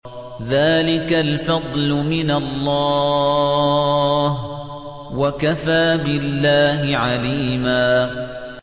ذَٰلِكَ الْفَضْلُ مِنَ اللَّهِ ۚ وَكَفَىٰ بِاللَّهِ عَلِيمًا